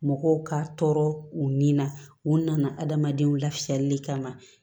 Mɔgɔw ka tɔɔrɔ u ni na u nana adamadenw lafiyali kama